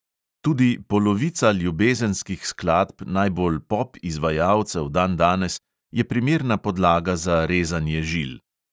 Tudi polovica ljubezenskih skladb najbolj pop izvajalcev dandanes je primerna podlaga za rezanje žil.